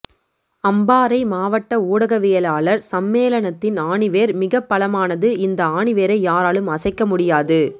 அம்பாறை மாவட்ட ஊடகவியலாளர் சம்மேளனத்தின் ஆணிவேர் மிகப் பலமானது இந்த ஆணிவேரை யாராலும் அசைக்க முடியாது